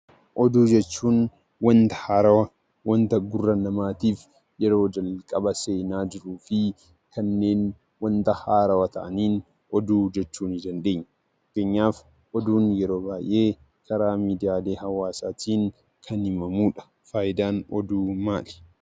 Oduu jechuun wanta haarawaa, wanta gurra namaatiif yeroo jalqaba seenaa jiruu fi kanneen wanta haarawaa ta'aniin oduu jechuu ni dandeenya. Fakkeenyaaf oduun yeroo baay'ee karaa miidiiyaalee hawaasaatiin kan himamu dha. Faayidaan Oduu maali?